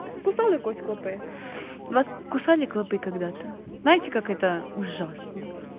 кусали клопы когда-то знаете как это ужасно